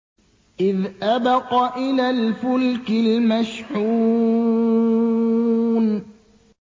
إِذْ أَبَقَ إِلَى الْفُلْكِ الْمَشْحُونِ